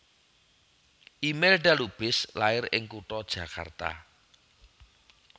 Imelda Lubis lair ing kutha Jakarta